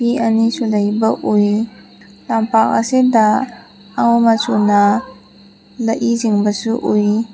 ꯑꯅꯤꯁꯨ ꯂꯩꯕ ꯎꯏ ꯂꯝꯄꯥꯛ ꯑꯁꯤꯗ ꯑꯉꯧ ꯃꯆꯨꯅ ꯂꯛꯏ ꯆꯤꯡꯕꯁꯨ ꯎꯏ꯫